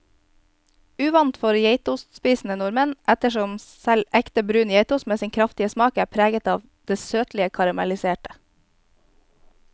Uvant for geitostspisende nordmenn, ettersom selv ekte brun geitost med sin kraftige smak er preget av det søtlige karamelliserte.